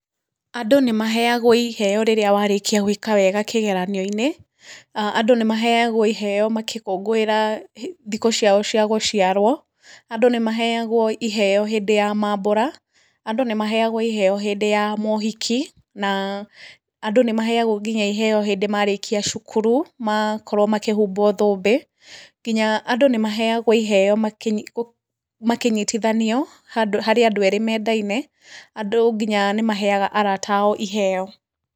Andũ nĩ maheagwo iheo rĩrĩa warĩkia gwĩka wega kĩgeranio-inĩ, andũ nĩ maheagwo iheo makĩkũngũĩra thikũ ciao cia gũciarwo, andũ nĩ maheagwo iheo hĩndĩ ya mabũra, andũ nĩ maheagwo iheo hĩndĩ ya mohiki, na andũ nĩ maheagwo nginya iheo hĩndĩ marĩkia cukuru makĩhumbwo thũmbĩ, nginya andũ nĩ maheagwo iheo makĩnyitithanio harĩ andũ erĩ mendaine, andũ nginya nĩ maheaga arata ao iheo.